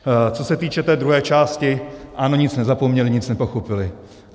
Co se týče té druhé části, ano, nic nezapomněli, nic nepochopili.